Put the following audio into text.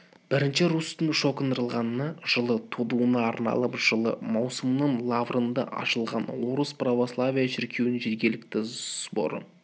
бірінші русьтің шокындырылғанына жылы толуына арналып жылы маусымның лаврында ашылған орыс православие шіркеуінің жергілікті соборы